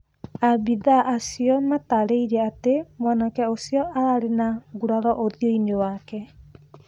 Abithaa acio matarĩirie atĩ mwanake ũcio arĩ na nguraro ũthio-inĩ wake